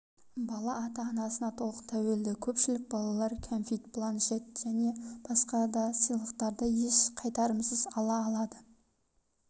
бала ата-анасына толық тәуелді көпшілік балалар кәмфит планшет және басқа да сыйлықтарды еш қайтарымсыз ала алады